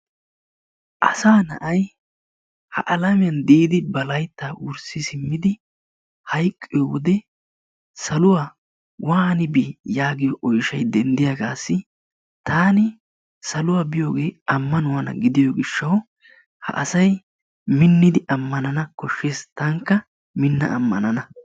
Asaa na'ay ha alamiyaan diidi ba layttaa wurssi siimmidi hayqqiyoo wode saluwaa waani bii yaagiyo oyshshay denddiyaagasi taani saluwaa biyoogee ammanuwaana gidiyoo giishshawu ha asay miinnidi ammanana kooshshes tankka minnada ammanana.